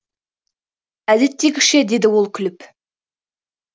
әдеттегіше деді ол күліп